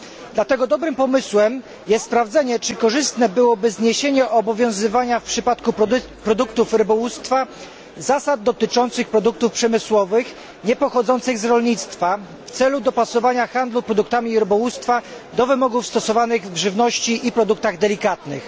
Dlatego dobrym pomysłem jest sprawdzenie, czy korzystne byłoby zniesienie obowiązywania w przypadku produktów rybołówstwa zasad dotyczących produktów przemysłowych niepochodzących z rolnictwa w celu dopasowania handlu produktami rybołówstwa do wymogów stosowanych w odniesieniu do żywności i produktów delikatnych.